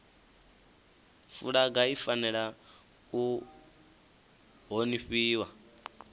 fulaga i fanela u honifhiwa